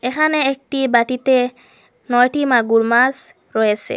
এহানে একটি বাটিতে নয়টি মাগুর মাস রয়েসে।